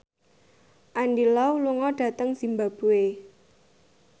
Andy Lau lunga dhateng zimbabwe